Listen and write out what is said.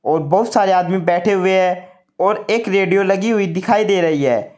और बहुत सारे आदमी बैठे हुए हैं और एक रेडियो लगी हुई दिखाई दे रही है।